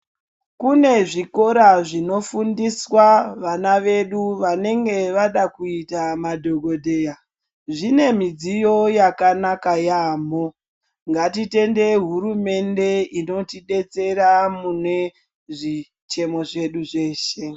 Kune zvikora zvino fundiswa vana vedu vanenge vada kuita madhokodheya zvine midziyo yakanaka yamho ngati tendei hurumende inoti detsera mune zvichemo zvedu zveshe.